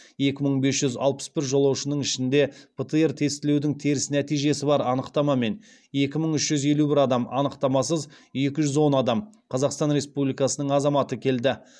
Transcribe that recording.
екі мың бес жүз алпыс бір жолаушының ішінде птр тестілеудің теріс нәтижесі бар анықтамамен екі мың үш жүз елу бір адам анықтамасыз екі жүз он адам қазақстан республикасының азаматы келді